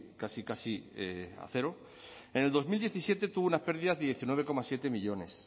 casi casi a cero en el dos mil diecisiete tuvo unas pérdidas de diecinueve coma siete millónes